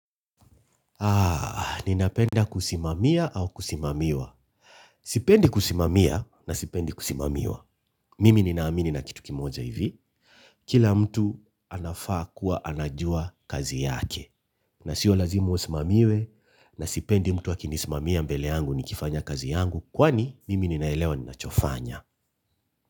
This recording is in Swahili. Ninapenda kusimamia au kusimamiwa. Sipendi kusimamia na sipendi kusimamiwa. Mimi ninaamini na kitu kimoja hivi. Kila mtu anafaa kuwa anajua kazi yake. Na sio lazima usimamiwe na sipendi mtu akinisimamia mbele yangu nikifanya kazi yangu kwani mimi ninaelewa ninachofanya.